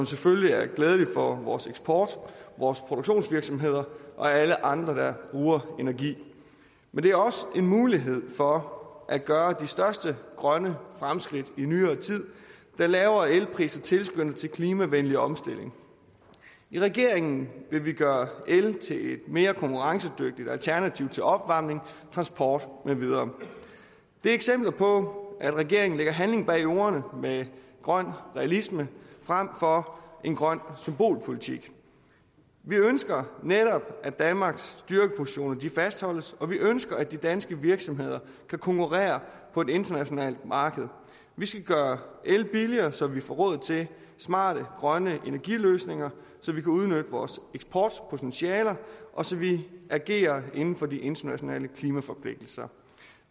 selvfølgelig er glædeligt for vores eksport vores produktionsvirksomheder og alle andre der bruger energi men det er også en mulighed for at gøre de største grønne fremskridt i nyere tid da lavere elpriser tilskynder til en klimavenlig omstilling i regeringen vil vi gøre el til et mere konkurrencedygtigt alternativ til opvarmning transport med videre det er eksempler på at regeringen sætter handling bag ordene med grøn realisme frem for en grøn symbolpolitik vi ønsker netop at danmarks styrkepositioner fastholdes og vi ønsker at de danske virksomheder kan konkurrere på et internationalt marked vi skal gøre el billigere så vi får råd til smarte grønne energiløsninger så vi kan udnytte vores eksportpotentialer og så vi agerer inden for de internationale klimaforpligtelser